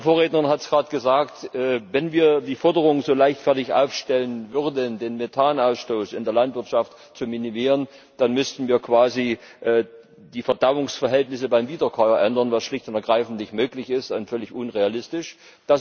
Meine Vorrednerin hat gerade gesagt Wenn wir die Forderung so leichtfertig aufstellen würden, den Methanausstoß in der Landwirtschaft zu minimieren, dann müssten wir quasi die Verdauungsverhältnisse beim Wiederkäuer ändern, was schlicht und ergreifend nicht möglich und völlig unrealistisch ist.